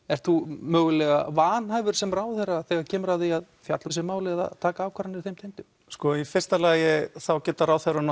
ert þú mögulega vanhæfur sem ráðherra þegar kemur að því að fjalla um þessi mál eða taka ákvarðanir þeim tengdum sko í fyrsta lagi geta ráðherrar